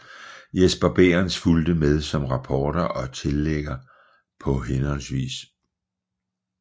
Jesper Bæhrenz fulgte med som rapporter og tilrettelægger på hhv